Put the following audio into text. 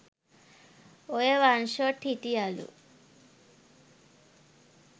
ඔය one shot හිටියලු